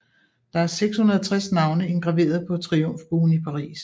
Der er 660 navne indgraveret på Triumfbuen i Paris